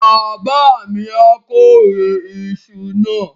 Bàbá mi á kórè iṣu náà.